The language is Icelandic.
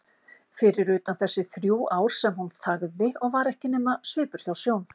Fyrir utan þessi þrjú ár sem hún þagði og var ekki nema svipur hjá sjón.